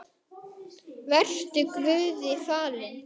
Vertu Guði falin.